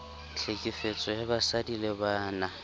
tlhekefetso ya basadi le bana